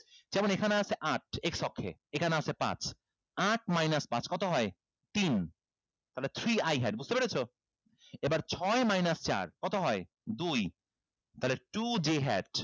যেমন এখানে আছে আট x অক্ষে এখানে আছে পাঁচ আট minus পাঁচ কত হয় তিন তাহলে three i had বুঝতে পেরেছো এবার ছয় minus চার কত হয় দুই তাহলে two j had